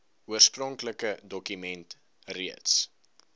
oorspronklike dokument reeds